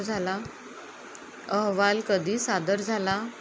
अहवाल कधी सादर झाला